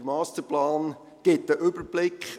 Der Masterplan gibt einen Überblick.